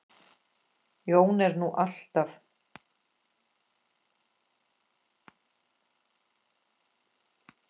Jón er nú alltaf